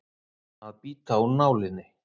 Að bíta úr nálinni